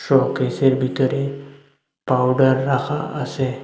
শোকেসের ভিতরে পাউডার রাখা আছে।